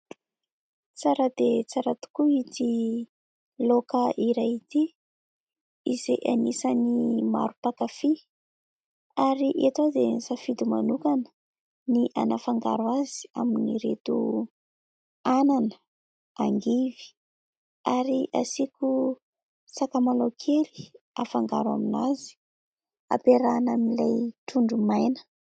Tsara dia tsara tokoa ity laoka iray ity izay anisany maro pakafia, ary eto aho dia nisafidy manokana ny anafangaro azy amin'ireto anana, angivy ary asiko sakamalao kely afangaro amin'azy ampiarahina amin'ilay trondro maina.